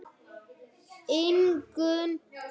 Ingunn og Högni.